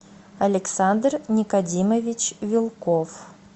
александр никодимович вилков